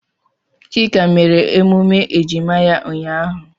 Chika mere emume ejima ya ụnyahụ.